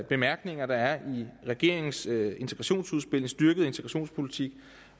bemærkninger der er i regeringens integrationsudspil en styrket integrationspolitik